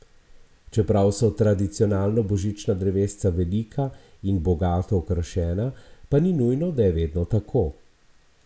Čeprav so tradicionalno božična drevesa velika in bogato okrašena, pa ni nujno, da je vedno tako.